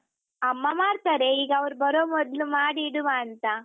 ಅಮ್ಮ ಮಾಡ್ತಾರೆ ಈಗ ಅವ್ರು ಬರೊ ಮೊದ್ಲು ಮಾಡಿ ಇಡುವಾಂತ.